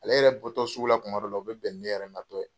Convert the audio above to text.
Ale yɛrɛ bɔtoɔ sugu la tuma dɔw la, o bɛ bɛn ne yɛrɛ na tɔ ye.